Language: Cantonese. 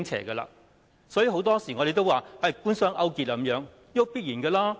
所以，我們很多時候說官商勾結，這結果是必然的。